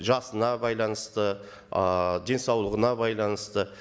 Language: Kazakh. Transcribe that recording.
жасына байланысты ыыы денсаулығына байланысты